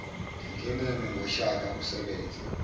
ngingeneme ngoshaka usebenze